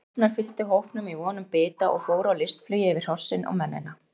Hrafnar fylgdu hópnum í von um bita og fóru á listflugi yfir hrossin og mennina.